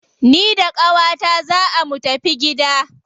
Ni da qawata zaa mu tafi gida.